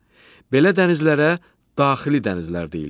Belə dənizlərə daxili dənizlər deyilir.